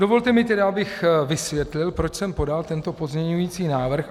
Dovolte mi tedy, abych vysvětlil, proč jsem podal tento pozměňující návrh.